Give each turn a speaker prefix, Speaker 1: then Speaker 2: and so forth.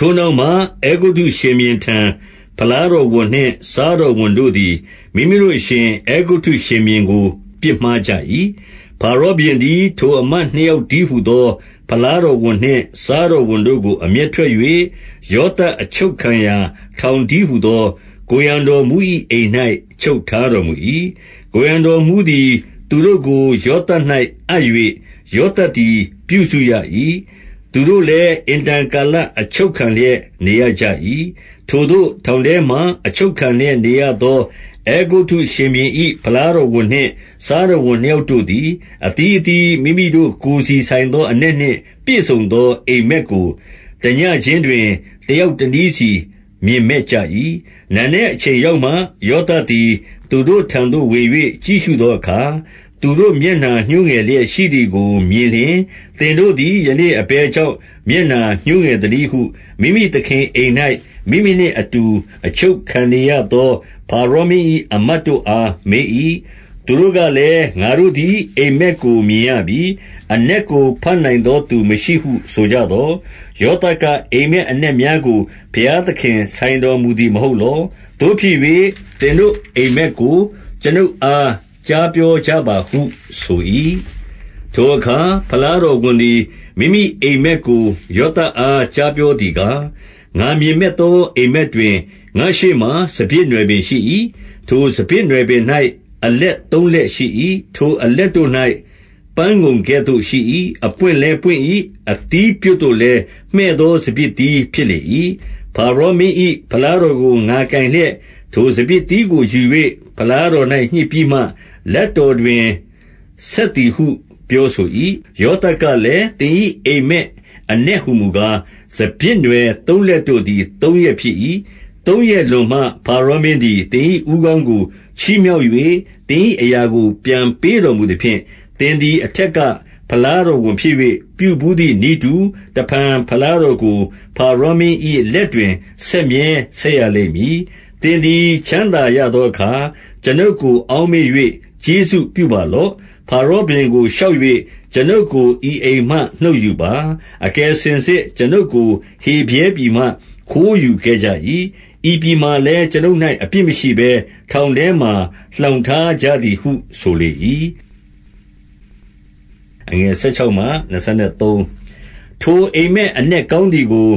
Speaker 1: ထိုနောက်မှ အဲဂုတ္တုရှင်ဘုရင်ထံ ဖလားတော် ဝန်နှင့် စားတော်ဝန်တို့သည် မိမိတို့အရှင် အဲဂုတ္တု ရှင်ဘုရင်ကို ပြစ်မှားကြ၏။ 2 ဖါရောဘုရင်သည် ထိုအမတ်နှစ်ယောက်တည်း ဟူသော ဖလားတော်ဝန်နှင့်စားတော်ဝန်တို့ကို အမျက် ထွက်၍၊ 3 ယောသပ်အချုပ်ခံရာ ထောင်တည်းဟူသော ကိုယ်ရံတော်မှူး၏အိမ်၌ ချုပ်ထားတော်မူ၏။ 4 ကိုယ်ရံတော်မှူးသည် သူတို့ကို ယောသပ်၌ အပ်၍၊ ယောသပ်သည် ပြုစုရ၏။သူတို့လည်း အင်တန် ကာလ အချုပ်ခံလျက် နေရကြ၏။ 5 ထိုသို့ထောင်ထဲမှာ အချုပ်ခံလျက်နေရသော အဲဂုတ္တုရှင်ဘုရင်၏ ဖလားတော်ဝန်နှင့် စားတော်ဝန် နှစ်ယောက်တို့သည်၊ အသီးအသီး မိမိတို့ ကိုယ်စီဆိုင်သော အနက်နှင့်ပြည့်စုံသော အိပ်မက်ကို တညဉ့်ခြင်းတွင် တယောက်တနည်းစီ မြင်မက်ကြ၏။ 6 နံနက်အချိန်ရောက်မှ ယောသပ်သည် သူတို့ ထံသို့ဝင်၍ ကြည့်ရှုသောအခါ၊ သူတို့မျက်နှာညှိုးငယ်လျက် ရှိသည်ကိုမြင်လျှင်၊ 7 သင်တို့သည် ယနေ့အဘယ်ကြောင့် မျက်နှာ ညှိုးငယ်သနည်းဟု မိမိသခင်အိမ်၌ မိမိနှင့်အတူ အချုပ်ခံ နေရသော ဖါရောမင်း၏ အမတ်တို့အား မေး၏။ 8 သူတို့ကလည်း၊ ငါတို့သည် အိပ်မက်ကိုမြင်ရပြီ။ အနက်ကို ဘတ်နိုင်သောသူ မရှိဟုဆိုကြသော်၊ ယောသပ် က၊ အိပ်မက်အနက်များကို ဘုရားသခင်ဆိုင်တော်မူသည် မဟုတ်လော။ သို့ဖြစ်၍ သင်တို့အိပ်မက်ကို ကျွန်ုပ်အား ကြားပြောကြပါဟုဆို၏။ 9 ထိုအခါ ဖလားတော်ဝန်သည် မိမိအိပ်မက်ကို ယောသပ်အား ကြားပြောသည်ကား၊ ငါမြင်မက်သော အိပ်မက်တွင်၊ ငါ့ရှေ့မှာ စပျစ်နွယ်ပင် ရှိ၏။ 10 ထိုစပျစ်နွယ်ပင်၌ အလက်သုံးလက်ရှိ၏။ ထိုအလက်တို့၌ ပန်းငုံကဲ့သို့ရှိ၏။ အပွင့်လည်း ပွင့်၏။ အသီးပြွတ်တို့လည်း မှည့်သောစပျစ်သီး ဖြစ်လေ၏။ 11 ဖါရောမင်း၏ ဖလားတော်ကို ငါကိုင်လျက်၊ ထိုစပျစ်သီးကိုယူ၍ ဖလားတော်၌ညှစ်ပြီးမှ လက်တော် တွင် ဆက်သည်ဟုပြောဆို၏။ 12 ယောသပ်ကလည်း သင်၏အိပ်မက်အနက် ဟူမူကား၊ စပျစ်နွယ်သုံးလက်တို့သည် သုံးရက်ဖြစ်၏။ 13 သုံးရက်လွန်မှဖါရောမင်းသည် သင်၏ဦးခေါင်း ကို ချီးမြှောက်၍ သင်၏အရာကိုပြန်ပေးတော်မူသဖြင့်၊ သင်သည်အထက်က ဖလားတော်ဝန်ဖြစ်၍ ပြုဘူးသည် နည်းတူ၊ တဖန်ဖလားတော်ကို ဖါရောမင်း၏လက်တွင် ဆက်မြဲ ဆက်ရလိမ့်မည်။ 14 သင်သည် ချမ်းသာရသောအခါ ကျွန်ုပ်ကို အောက်မေ့၍ ကျေးဇူးပြုပါလော့။ ဖါရောဘုရင်က တိုလျှောက်၍ ကျွန်ုပ်ကို ဤအိမ်မှနှုတ်ယူပါ။ 15 အကယ်စင်စစ် ကျွန်ုပ်ကို ဟေဗြဲပြည်မှ ခိုးယူ ခဲ့ကြ၏။ ဤပြည်မှာလည်း ကျွန်ုပ်၌ အပြစ်မရှိဘဲ ထောင်ထဲမှာ လှောင်ထားကြသည်ဟုဆို၏။ 16 ထိုအိပ်မက်အနက် ကောင်းသည်ကို